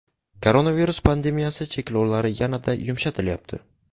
Koronavirus pandemiyasi cheklovlari yana-da yumshatilyapti.